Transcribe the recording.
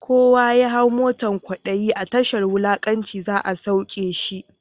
Kowa ya hau motan kwadayi, a tashar wulakanci za’a sauke shi.